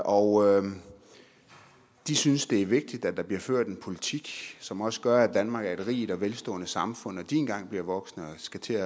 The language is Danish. og de synes det er vigtigt at der bliver ført en politik som også gør at danmark er et rigt og velstående samfund når de engang bliver voksne og skal til